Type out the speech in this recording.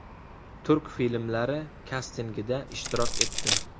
Turk filmlari kastingida ishtirok etdim.